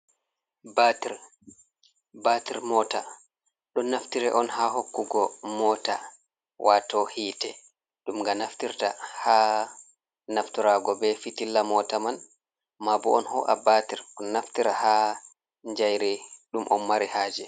"Batir" batir mota ɗon naftire on ha hokkugo mota wato hite ɗum nga naftirta ha naftirago be fitilla mota man maabo on ho’a batir on naftira ha jayri ɗum on mari haje.